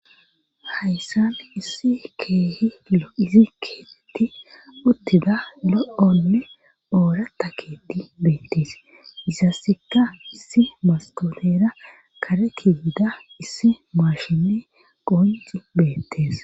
Hayssan issi keehi lo7izi keeetti uttida lo7ole oorata keti beettees isassekka issi mastoleera kare kiyida issi maashinne qonci beettees